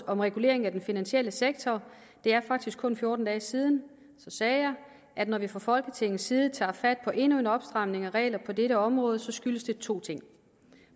om regulering af den finansielle sektor det er faktisk kun fjorten dage siden sagde jeg at når vi fra folketingets side tager fat på endnu en opstramning af regler på dette område skyldes det to ting